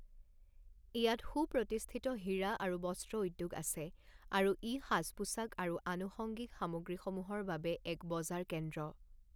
ইয়াত সুপ্ৰতিষ্ঠিত হীৰা আৰু বস্ত্ৰ উদ্যোগ আছে আৰু ই সাজ পোছাক আৰু আনুষঙ্গিক সামগ্ৰীসমূহৰ বাবে এক বজাৰ কেন্দ্ৰ।